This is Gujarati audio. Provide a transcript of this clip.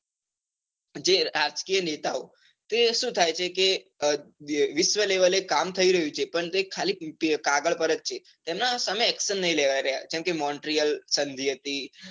જે રાજકીય નેતાઓ તે સુ થાય છે કે વિશ્વ level એ કામ થઇ રહ્યું છે, પણ તે કાગળ પર જ છે, એના સામે action નાઈ લેવાય રહ્યા. કેમ કે montreal સંધિ હતી.